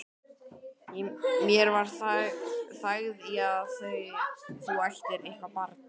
Mér væri þægð í að þú ættir eitthvert barn.